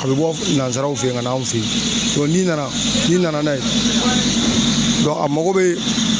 A be bɔ nanzaraw fe yen ka na anw fe yen n'i nana, n'i nana n'a ye a mako be